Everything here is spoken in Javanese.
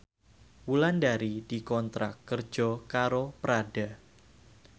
Wulandari dikontrak kerja karo Prada